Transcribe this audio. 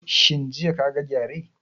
Shin jiya ka ga gyare?